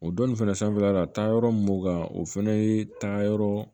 O donnin fɛnɛ sanfɛla la taayɔrɔ mun b'o kan o fɛnɛ ye taayɔrɔ